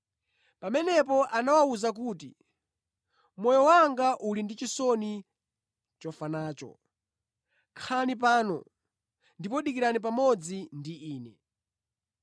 Pamenepo anawawuza kuti, “Moyo wanga uli ndi chisoni chofa nacho. Khalani pano ndipo dikirani pamodzi ndi Ine.”